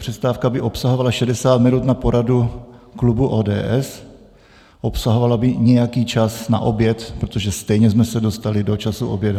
Přestávka by obsahovala 60 minut na poradu klubu ODS, obsahovala by nějaký čas na oběd, protože stejně jsme se dostali do času oběda.